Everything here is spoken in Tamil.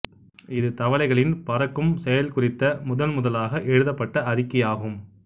இது தவளைகளின் பறக்கும் செயல் குறித்த முதன்முதலாக எழுதப்பட்ட அறிக்கையாகும்